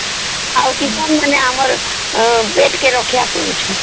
ଆଉ କିଷାନ ମାନେ ଆମର ପେଟ କେ ରକ୍ଷା କରୁଛନ